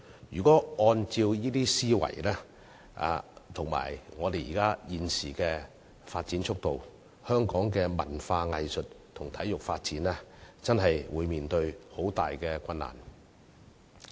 如果按照這些思維及香港現時的發展速度，香港的文化藝術及體育發展將會面對很大困難。